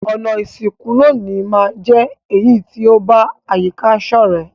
Ònà ìsìnkú loní ma n je èyí to ba àyíká sọ̀rẹ́